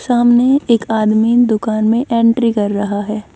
सामने एक आदमी दुकान में एंट्री कर रहा है।